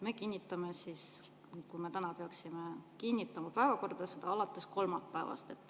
Me kinnitame siis – kui me täna peaksime seda – päevakorra alates kolmapäevast.